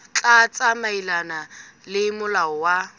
tla tsamaelana le molao wa